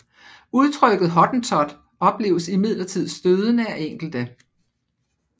Udtrykket hottentot opleves imidlertid stødende af enkelte